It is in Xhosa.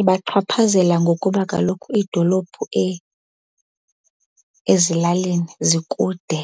Ibachaphazela ngokuba kaloku idolophu ezilalini zikude.